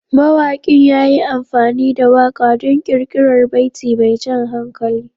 Mawaƙin ya yi amfani da waƙa don ƙirƙirar baiti mai jan hankali.